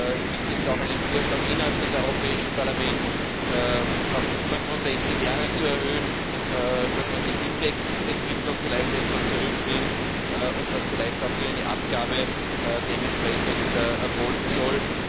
Es gibt jetzt auch einen Vorschlag innerhalb des Europäischen Parlaments, auf 65 Jahre zu erhöhen, dass man die Indexentwicklung vielleicht etwas zurücknimmt und dass vielleicht auch hier eine Abgabe dementsprechend erfolgen soll.